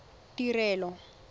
tirelo